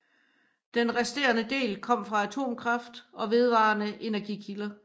Den restende del kom fra atomkraft og vedvarende energikilder